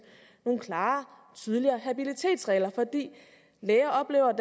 nogle klarere og tydeligere habilitetsregler fordi læger oplever at